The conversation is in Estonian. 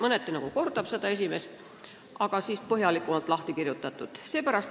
Mõneti see nagu kordab eelmärgitud ettepanekut, aga on põhjalikumalt lahti kirjutatud.